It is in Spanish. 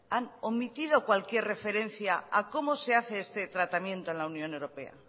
han omitido cualquier referencia a cómo se hace este tratamiento en la unión europea